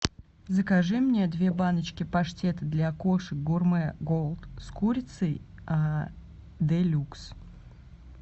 закажи мне две баночки паштета для кошек гурме голд с курицей де люкс